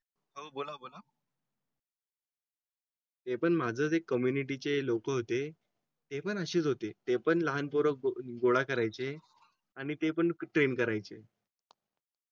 ते पण माझं एक कम्युनिटीचे लोक होते हे पण अशी होते ते पण लहान पोर गोळा करायचे आणि ते पण ट्रेन करायचे